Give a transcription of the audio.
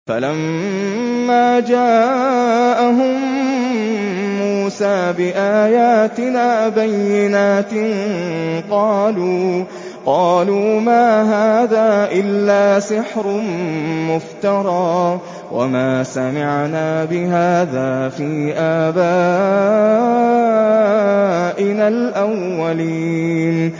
فَلَمَّا جَاءَهُم مُّوسَىٰ بِآيَاتِنَا بَيِّنَاتٍ قَالُوا مَا هَٰذَا إِلَّا سِحْرٌ مُّفْتَرًى وَمَا سَمِعْنَا بِهَٰذَا فِي آبَائِنَا الْأَوَّلِينَ